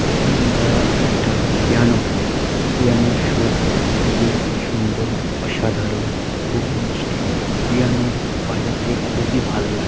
এখানে আমরা একটা পিয়ানোকে দেখছি পিয়ানোর সুর খুবই সুন্দর অসাধারণ খুবই মিষ্টি পিয়ানো বাজাতে খুবই ভালো লাগে।